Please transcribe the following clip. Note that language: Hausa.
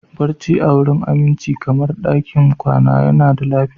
Barci a wurin aminci kamar ɗakin kwana yana da lafiya